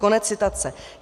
Konec citace.